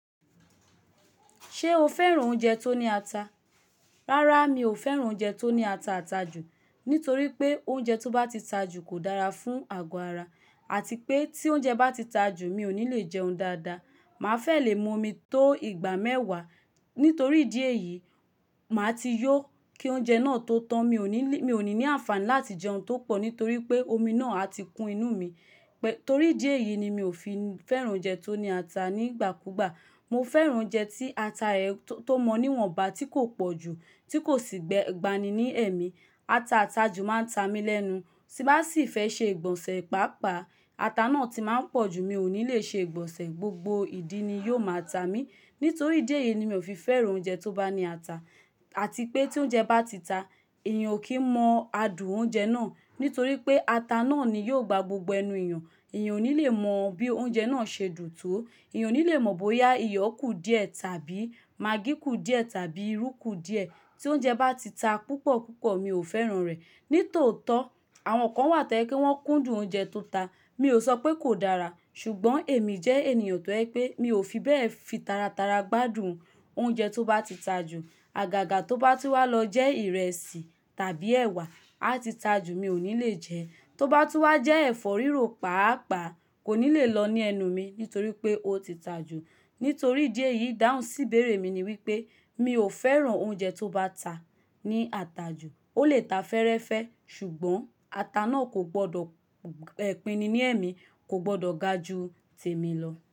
Ṣé o fẹ́ràn oúnjẹ tó ní ata? Rárá, mi ò fẹ́ràn oúnjẹ tó ní ata àtajù, nítorí pé oúnjẹ tó bá ti tajù kò dára fún àgọ́ ara àti pé tí oúnjẹ bá ti tajù, mi ò ní le jẹun dáadáa. Màá fẹ́ lè mu omi tó ìgbà mẹ́wàá. Nítorí idi eyìí, màá ti yó kí oúnjẹ náà tó tán. Mi ò ní, mi ò ní ní àǹfààní láti jẹun tó pọ̀ nítorí pé omi náà á ti kún inú mi. Torí idi eyìí ni mi ò fi fẹ́ràn oúnjẹ tó ní ata nígbàkúùgbà. Mo fẹ́ràn oúnjẹ tí ata rẹ̀ tó mọ níwọ̀nba, tí kò pọ̀ jù, tí kò sì gbani ní ẹ̀mí. Ata àtajù máa ń ta mí lẹ́nu. Sí bá sì fẹ́ ṣe ìgbọ̀nsẹ̀ pápàá, ata náà tí máa ń pọ̀ jù, mi ò ní lè ṣe ìgbọ̀nsẹ̀, gbogbo ìdí ni yóò máa ta mí. Nítorí idi eyìí ni mi ò fi fẹ́ràn oúnjẹ tó bá ní ata, àti pé tí oúnjẹ bá ti ta, èèyàn ò kí n mọ adùn oúnjẹ náà. Nítorí pé ata náà ni yóò gba gbogbo ẹnu èèyàn. Ẹ̀yàn ò ní lè mọ bí oúnjẹ náà ṣe dùn tó. Ẹ̀yàn ò ní lè mọ bóyá iyọ̀ kù díẹ̀ tàbí magí kù díẹ̀ tàbí irú kù díẹ̀. Ti oúnjẹ bá ti ta púpọ̀ púpọ̀, mi ò fẹ́ràn rẹ̀. Nítòótọ́, àwọn kan wà t'ó jẹ̀ pé wọ́n kúndùn oúnjẹ tó ta. Mi ò sọ pé kò dára, ṣùgbọ́n èmi jẹ́ ènìyàn tó jẹ́ pé mi ò fi bẹ́ẹ̀ fi taratara gbádùn oúnjẹ tó bá ti tajù. Àgàgà tó bá tú wá lọ jẹ́ ìrẹsì tàbí ẹ̀wà á ti tajù, mi ò ní lè jẹ. Tó bá tú wá jẹ́ ẹ̀fọ́ rírò páápàá kò ní lè lọ ní ẹnu mi nítorí pé ó ti tajù. Nítorí idi eyìí, idáhùn sí ìbéèrè mi ni wípé mi ò fẹ́ràn oúnjẹ tó bá ta ní àtajù. Ó lè ta fẹ́ẹ́rẹ́fẹ́, ṣùgbọ́n ata náà kò gbọdọ̀ pínni ní ẹ̀mí kò gbọdọ̀ ga ju tèmi lọ.